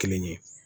Kelen ye